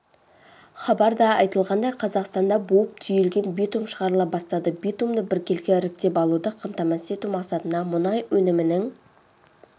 хабарда айтылғандай қазақстанда буып-түйілген битум шығарыла бастады битумды біркелкі іріктеп алуды қамтамасыз ету мақсатында мұнай өнімінің